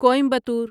Coimbatore